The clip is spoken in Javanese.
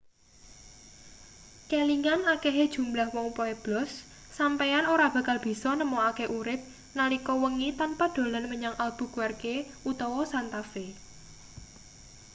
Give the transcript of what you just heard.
kelingan akehe jumlah wong pueblos sampeyan ora bakal bisa nemokake urip nalika wengi tanpa dolan menyang albuquerque utawa santa fe